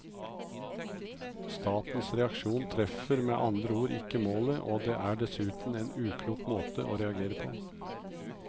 Statens reaksjon treffer med andre ord ikke målet og det er dessuten en uklok måte å reagere på.